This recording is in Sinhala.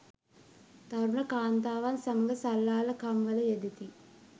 තරුණ කාන්තාවන් සමග සල්ලාලකම් වල යෙදෙති.